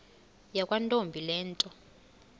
yakwantombi le nto